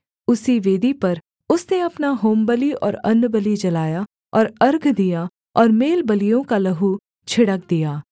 उसी वेदी पर उसने अपना होमबलि और अन्नबलि जलाया और अर्घ दिया और मेलबलियों का लहू छिड़क दिया